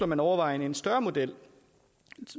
man overvejer en større model